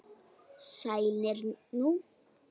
Sælir nú.